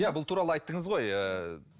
иә бұл туралы айттыңыз ғой ыыы